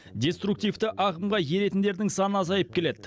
деструктвиті ағымға еретіндердің саны азайып келеді